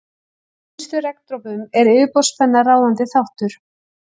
Í minnstu regndropum er yfirborðsspenna ráðandi þáttur.